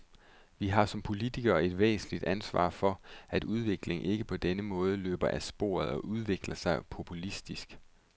Vi har som politikere et væsentligt ansvar for, at udviklingen ikke på denne måde løber af sporet og udvikler sig populistisk.